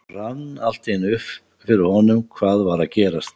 Það rann allt í einu upp fyrir honum hvað var að gerast.